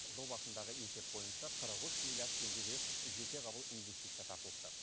жыл басындағы есеп бойынша қырық үш миллиард теңгеге жетеғабыл инвестиция тартылыпты